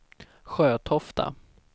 Sjötofta